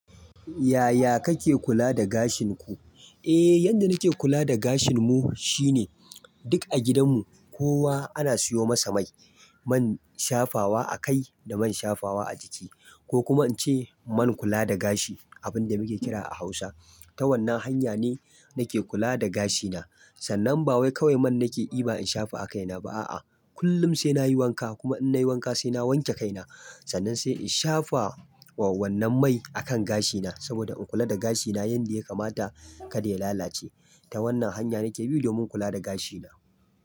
Yaya kake kula da gashin ku? Eh, yadda nake kula da gashin mu shine duk a gidan mu kowa ana siyo masa mai. Man shafawa a kai da man shafawa a jiki ko kuma ince man kula da gashi abin da muke kira a Hausa. Ta wannan hanya ne nake kula da gashina. Sannan ba wai kawai man nake yi ba in shafa a kaina ba a'a. Kullum sai nayi wanka kuma in nayi wanka sai na wanke kaina. Sannan sai in shafa wannan mai a kan gashina saboda in kula da gashina yanda ya kamata kada ya lalace. Ta wannan hanya nake bi domin kula da gashina.